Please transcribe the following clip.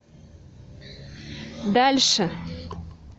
дальше